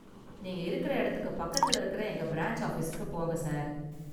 நீங்க இருக்கற இடத்துக்கு பக்கத்துல இருக்கற​ எங்க பிரான்ச் ஆஃபீஸுக்கு போங்க, சார்.